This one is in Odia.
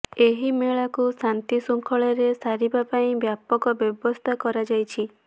ଏହି ମେଳାକୁ ଶାନ୍ତିଶୃଙ୍ଖଳାରେ ସାରିବା ପାଇଁ ବ୍ୟାପକ ବ୍ୟବସ୍ଥା କରାଯାଇଛି